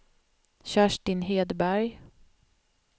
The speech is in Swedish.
Kerstin Hedberg